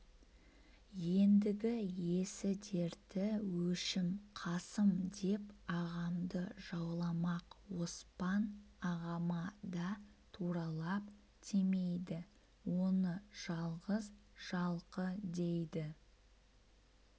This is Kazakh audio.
ендігі есі-дерті өшім қасым деп ағамды жауламақ оспан ағама да туралап тимейді оны жалғыз жалқы дейді